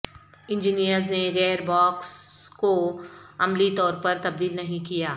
engineers نے gear box کو عملی طور پر تبدیل نہیں کیا